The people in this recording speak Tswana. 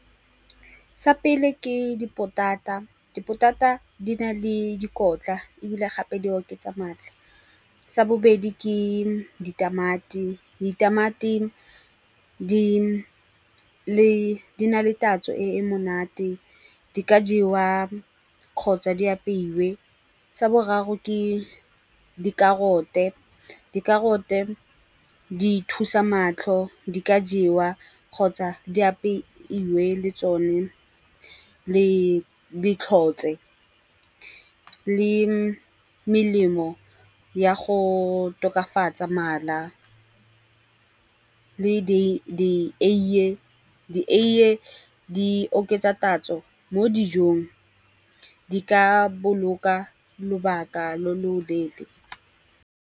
Sa pele ke dipotata, dipotata di na le dikotla ebile gape di oketsa matlha. Sa bobedi ke ditamati, ditamati di na le tatso e e monate, di ka jewa kgotsa di apeiwe. Sa boraro ke dikarote, dikarote di thusa matlho, di ka jewa kgotsa di apeiwe le tsone le tlhotswe. Le melemo ya go tokafatsa mala le dieiye, dieiye di oketsa tatso mo dijong, di ka boloka lobaka lo loleele.